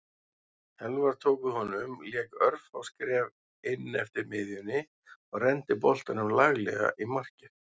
Elfar tók við honum lék örfá skref inneftir miðjunni og renndi boltanum laglega í markið.